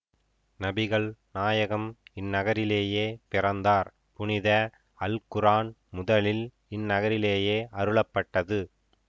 நபிகள் நாயகம் இந்நகரிலேயே பிறந்தார் புனித அல் குரான் முதலில் இந்நகரிலேயே அருளப்பட்டது